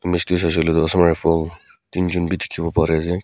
ase koile toh assam rifle tin jun bi dikhi bole pari ase.